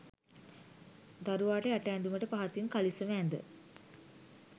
දරුවාට යට ඇදුමට පහතින් කළිසම ඇද